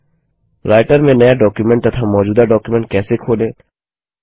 writer में नया document तथा मौजूदा डॉक्युमेंट कैसे खोलें